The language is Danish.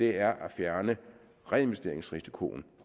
er at fjerne reinvesteringsrisikoen